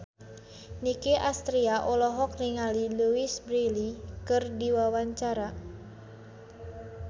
Nicky Astria olohok ningali Louise Brealey keur diwawancara